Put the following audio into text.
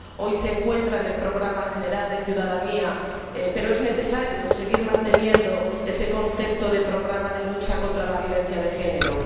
Hoy se encuentra integrado en el programa general de Derechos y ciudadanía, pero es necesario seguir manteniendo ese concepto de programa de lucha contra la violencia de género.